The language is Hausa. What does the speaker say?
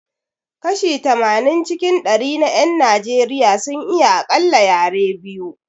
Kashi tamanin cikin dari na 'yan Najeriya sun iya akalla yare biyu